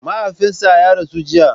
Mahaifinsa ya rasu jiya.